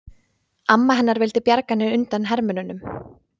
Amma hennar vildi bjarga henni undan hermönnunum.